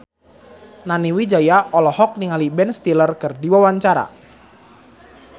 Nani Wijaya olohok ningali Ben Stiller keur diwawancara